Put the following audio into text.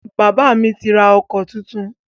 Bàbá mi ti rà ọkọ̀ tuntun